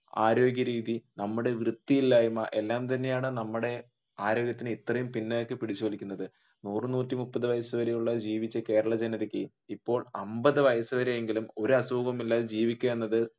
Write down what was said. ആരോഗ്യരീതി നമ്മുടെ വൃത്തിയില്ലായ്മ എല്ലാം തന്നെയാണ് നമ്മുടെ ആരോഗ്യത്തിന് ഇത്രയും പിന്നിലേക്ക് പിടിച്ചു വലിക്കുന്നത് നൂറു നൂറ്റിമുപ്പതു വയസു വരെയുള്ള ജീവിച്ച കേരള ജനതയ്ക്ക് ഇപ്പോൾ അമ്പതു വയസു വരെയെങ്കിലും ഒരു അസുഖവും ഇല്ലാതെ ജീവിക്കുക എന്നത്